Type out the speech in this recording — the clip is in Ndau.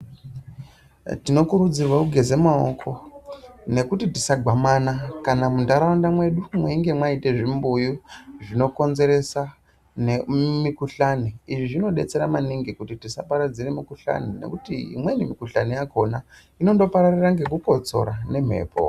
Tinokurudzirwa kugeza maoko nokuti tisagwamana kana mundaraunda mwedu mweyinge mwayite zvimbuyu zvinokonzeresa mikuhlani, izvi zvinodetsera maningi kuti tisaparadzira mikuhlani nokuti imweni mikuhlani yakona inondopararira ngekukotsora nemhepo.